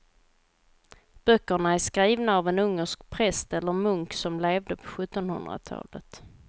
Böckerna är skrivna av en ungersk präst eller munk som levde på sjuttonhundratalet.